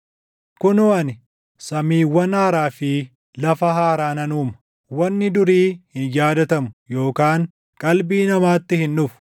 “Kunoo ani, samiiwwan haaraa fi lafa haaraa nan uuma. Wanni durii hin yaadatamu; yookaan qalbii namaatti hin dhufu.